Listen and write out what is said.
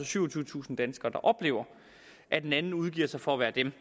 syvogtyvetusind danskere der oplever at en anden udgiver sig for at være dem